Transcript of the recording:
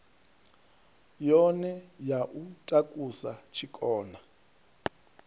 yone ya u takusa tshikona